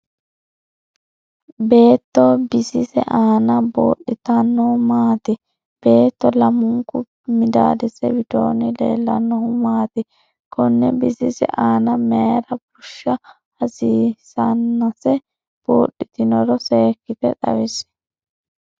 Beetto bisise aanna buudhitinno maati? Beettote lamunku midaadise widoonni leellannohu maati? Konne bisise aanna mayira busha hasiisenase budhitinoro seekite xawisi?